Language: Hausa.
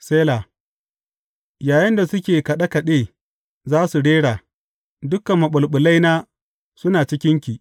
Sela Yayinda suke kaɗe kaɗe za su rera, Dukan maɓulɓulaina suna cikinki.